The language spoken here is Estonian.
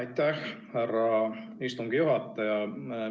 Aitäh, härra istungi juhataja!